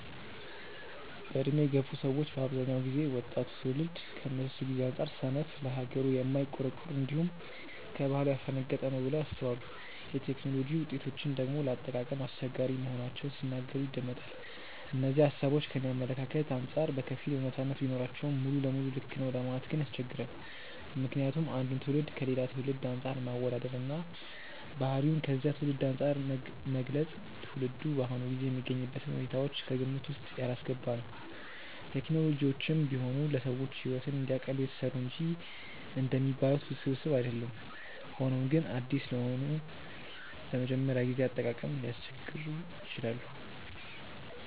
በዕድሜ የገፉ ሰዎች በአብዛኛው ጊዜ ወጣቱ ትውልድ ከነሱ ጊዜ አንጻር ሰነፍ፣ ለሀገሩ የማይቆረቆር፣ እንዲሁም ከባህሉ ያፈነገጠ ነው ብለው ያስባሉ። የቴክኖሎጂ ውጤቶችን ደግሞ ለአጠቃቀም አስቸጋሪ መሆናቸውን ሲናገሩ ይደመጣል። እነዚህ ሃሳቦች ከኔ አመለካከት አንጻር በከፊል አውነታነት ቢኖራቸውም ሙሉ ለሙሉ ልክ ነው ለማለት ግን ያስቸግራል። ምክንያቱም አንድን ትውልድ ከሌላ ትውልድ አንፃር ማወዳደር እና ባህሪውን ከዚያ ትውልድ አንፃር መግለጽ ትውልዱ በአሁኑ ጊዜ የሚገኝበትን ሁኔታዎች ከግምት ውስጥ ያላስገባ ነው። ቴክኖሎጂዎችም ቢሆኑ ለሰዎች ሕይወትን እንዲያቀሉ የተሰሩ እንጂ እንደሚባሉት ውስብስብ አይደሉም። ሆኖም ግን አዲስ ስለሆኑ ለመጀመሪያ ጊዜ አጠቃቀም ሊያስቸግሩ ይችላሉ።